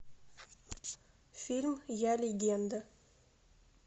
фильм я легенда